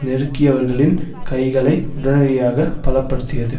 நெருக்கியவர்களின் கைகளை உடனடியாக பல படுத்தியது